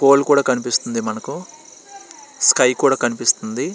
Phone కూడా కనిపిస్తుంది. Sky కూడా కనిపిస్తుంది.